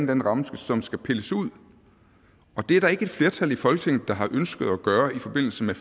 den ramme som skal pilles ud og det er der ikke et flertal i folketinget der har ønsket at gøre i forbindelse med